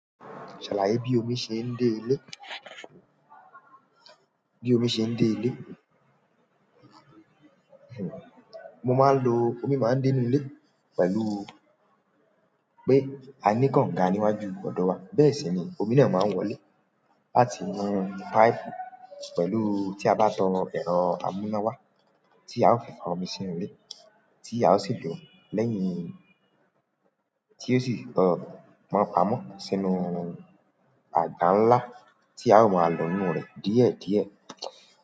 Ṣàlàyé bí omi ṣe ń dé ilé. Bí omi ṣe ń dé ilé, mo máa ń lo, omi máa ń dé inú ilé pẹ̀lú pé a ní konga níwájú ọ̀dọ̀ wa. Bẹ́ẹ̀ sì ni omi de máa ń wọlé. A ti mú pipe pẹ̀lú tí a bá tan ẹ̀rọ amúnáwá, tí a ó fi fa omi sí inú ilé, tí a ó sì lò ó lẹ́yìn tí ó sì tọ mọ amọ́ sínú àga ńlá tí a ó máa lò inú rẹ̀ díẹ̀díẹ̀.